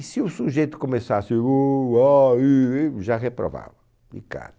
E se o sujeito começasse o a e e já reprovava. De cara.